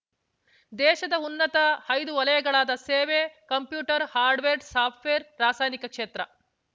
ದೇಶದ ಉನ್ನತ ಐದು ವಲಯಗಳಾದ ಸೇವೆ ಕಂಪ್ಯೂಟರ್ ಹಾರ್ಡ್‌ವೇರ್ಸಾಫ್ಟ್‌ವೇರ್ ರಾಸಾಯನಿಕ ಕ್ಷೇತ್ರ